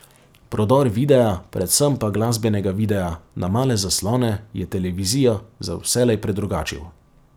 Prodor videa, predvsem pa glasbenega videa, na male zaslone je televizijo za vselej predrugačil.